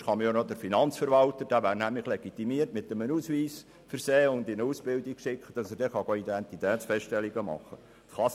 Sonst kann man auch den Finanzverwalter – der wäre nämlich legitimiert – mit einem Ausweis versehen und in eine Ausbildung schicken, damit er dann Identitätsfeststellungen machen kann.